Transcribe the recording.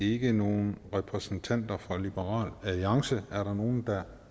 ikke nogen repræsentanter fra liberal alliance er der nogen der